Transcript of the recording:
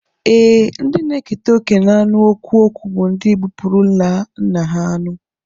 Ee, ndị na-eketa oké n'anụ ọkwụkwụ bụ ndị gbupụrụla nna ha anụ